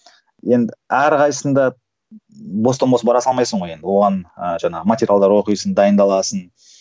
енді әрқайсысында бостан бос бара салмайсың ғой енді оған ыыы жаңағы материалдар оқисың дайындаласың